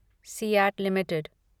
CEAT limited